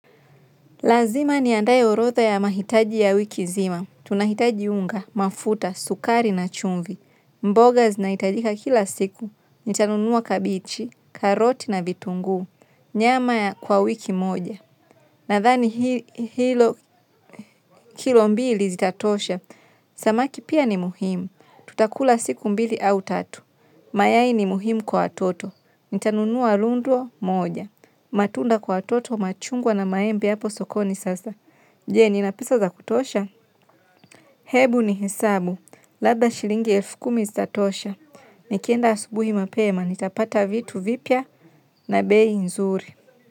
Lazima ni andaye orodha ya mahitaji ya wiki nzma. Tunahitaji unga, mafuta, sukari na chumvi. Mboga zinaitajika kila siku. Nitanunua kabichi, karoti na vitunguu. Nyama ya kwa wiki moja. Nadhani hilo kilo mbili zita tosha. Samaki pia ni muhimu. Tutakula siku mbili au tatu. Mayai ni muhimu kwa watoto. Nitanunua lunduo moja. Matunda kwa watoto machungwa na maembe hapo sokoni sasa. Je, nina pesa za kutosha? Hebu ni hesabu. Labda shilingi elfu kumi zita tosha. Nikienda asubuhi mapema. Nitapata vitu vipya na bei nzuri.